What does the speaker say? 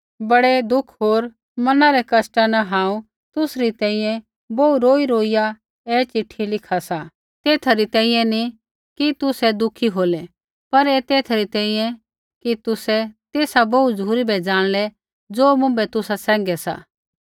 बड़ै दुःख होर मना रै कष्टा न हांऊँ तुसरी तैंईंयैं बोहू रोईरोईया ऐ चिट्ठी लिखा सा तेथा री तैंईंयैं नी कि तुसै दुःखी होलै पर ऐथा री तैंईंयैं कि तुसै तेसा बोहू झ़ुरी बै ज़ाणलै ज़ो मुँभै तुसा सैंघै सा